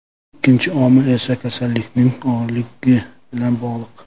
Ikkinchi omil esa kasallikning og‘irligi bilan bog‘liq.